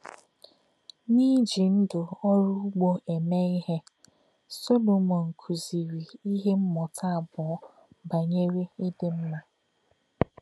N’ìjí̄ ndú̄ ọ́rụ́ ùgbò̄ èmè̄ ìhè̄, Solomọn kụ́zì̄rì̄ ìhè̄ mmụ̀tá̄ àbọ̣̄ bá̄nyèrè̄ ìdì̄ mmà̄.